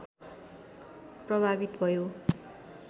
प्रभावित भयो